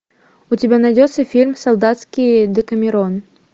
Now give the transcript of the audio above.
у тебя найдется фильм солдатский декамерон